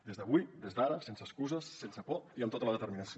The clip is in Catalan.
des d’avui des d’ara sense excuses sense por i amb tota la determinació